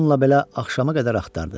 Bununla belə axşama qədər axtardı.